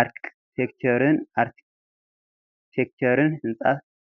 ኣርክቴክቸርን ህንፃ